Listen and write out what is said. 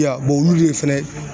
I y'a wa olu de fɛnɛ